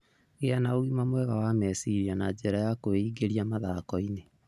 Gĩa na ũgima mwega wa meciria na njĩra ya kwĩingĩria mathako-inĩ.